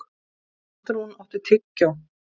Arnrún, áttu tyggjó?